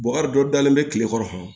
dɔ dalen bɛ tile kɔrɔ